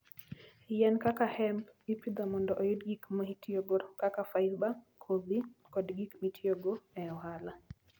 Yien kaka hemp ipidho mondo oyud gik mitiyogo kaka fiber, kodhi, kod gik mitiyogo e ohala.